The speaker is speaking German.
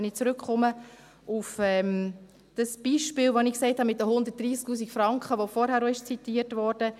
Wenn ich zurückkomme auf das Beispiel, das ich genannt habe und das vorhin auch zitiert wurde, mit den 130 000 Franken: